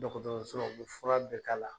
Dɔkɔtɔrɔso la, u be fura bɛ k'a la.